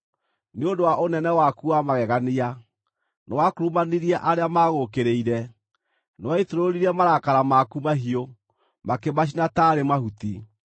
Nĩ ũndũ wa ũnene waku wa magegania, nĩwakurumanirie arĩa magũũkĩrĩire. Nĩwaitũrũrire marakara maku mahiũ; makĩmacina taarĩ mahuti.